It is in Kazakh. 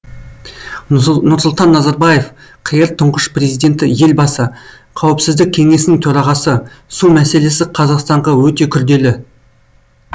нұрсұлтан назарбаев қр тұңғыш президенті елбасы қауіпсіздік кеңесінің төрағасы су мәселесі қазақстанға өте күрделі